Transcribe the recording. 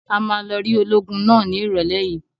A máa lọ rí ológun náà ní ìrọ́lẹ́ yìí.